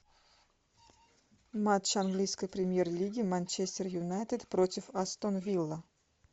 матч английской премьер лиги манчестер юнайтед против астон вилла